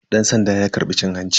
Dan sandan ya karbi cin hanci.